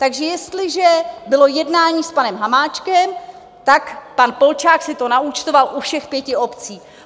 Takže jestliže bylo jednání s panem Hamáčkem, tak pan Polčák si to naúčtoval u všech pěti obcí.